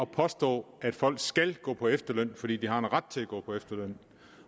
påstå at folk skal gå på efterløn fordi de har ret til at gå på efterløn